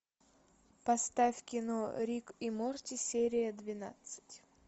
поставь кино рик и морти серия двенадцать